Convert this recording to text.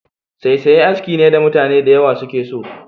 Saisaye aski ne da mutane da yawa suke so.